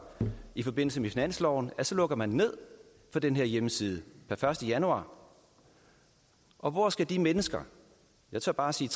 i forbindelse med finansloven så lukker ned for den her hjemmeside per første januar og hvor skal de mennesker jeg tør bare sige